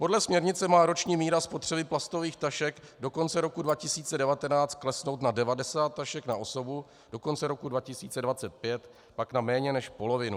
Podle směrnice má roční míra spotřeby plastových tašek do konce roku 2019 klesnout na 90 tašek na osobu, do konce roku 2025 pak na méně než polovinu.